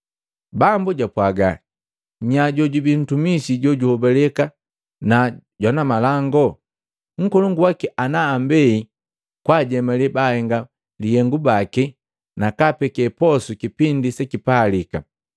Bambu japwaga, “Nya, jojubi ntumisi jojuhobaleka na jwanamalangu? Nkolongu waki ana ambei kwaajemale baahenga lihengu bangi nakaapeke posu kipindi sekipalika.